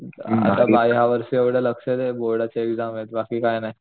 आता ह्या वर्षी जरा लक्ष दे बोर्डाची एक्साम बाकी काही नाही